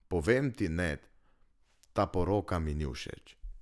Povem ti, Ned, ta poroka mi ni všeč.